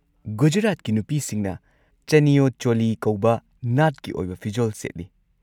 ꯒꯨꯖꯔꯥꯠꯀꯤ ꯅꯨꯄꯤꯁꯤꯡꯅ ꯆꯅꯤꯌꯣ ꯆꯣꯂꯤ ꯀꯧꯕ ꯅꯥꯠꯀꯤ ꯑꯣꯏꯕ ꯐꯤꯖꯣꯜ ꯁꯦꯠꯂꯤ꯫